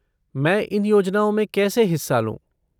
मैं इन योजनाओं में कैसे हिस्सा लूँ?